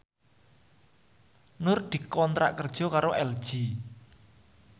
Nur dikontrak kerja karo LG